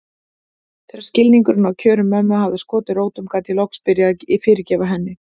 Þegar skilningurinn á kjörum mömmu hafði skotið rótum gat ég loksins byrjað að fyrirgefa henni.